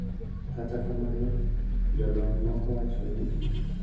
Kata kamano, jolony moko wacho ni